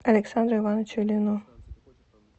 александру ивановичу ильину